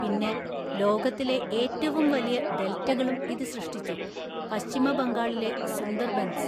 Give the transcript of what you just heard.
പിന്നെ, ലോകത്തിലെ ഏറ്റവും വലിയ ഡെൽറ്റകളും ഇത് സൃഷ്ടിച്ചു: പശ്ചിമ ബംഗാളിലെ സുന്ദർബൻസ്.